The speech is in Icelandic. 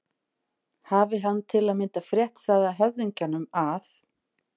Hafi hann til að mynda frétt það af höfðingjum að